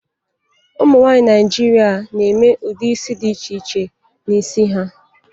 Ụmụ nwaanyị Naịjirịa na-eme ụdị isi dị iche iche n'isi ha.